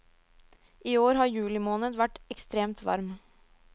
I år har juli måned vært ekstremt varm.